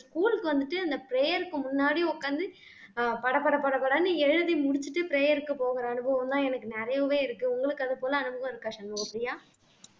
school க்கு வந்துட்டு அந்த prayer க்கு முன்னாடி உட்கார்ந்து ஆஹ் படபட படபடன்னு எழுதி முடிச்சுட்டு prayer க்கு போகிற அனுபவம்தான் எனக்கு நிறையவே இருக்கு உங்களுக்கு அது போல அனுபவம் இருக்கா சண்முக பிரியா